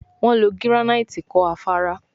Wón ló giranaiti kò Afárá